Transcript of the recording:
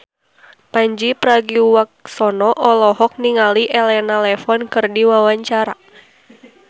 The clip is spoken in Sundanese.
Pandji Pragiwaksono olohok ningali Elena Levon keur diwawancara